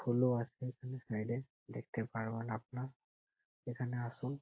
ফুলও আছে এখানে সাইড -এ। দেখতে পারবেন আপনার এখানে আসুন।